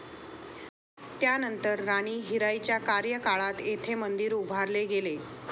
त्यानंतर राणी हिराईच्या कार्यकाळात येथे मंदिर उभारले गेले.